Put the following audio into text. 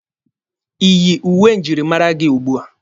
Iyi uwe njirimara gị ugbua?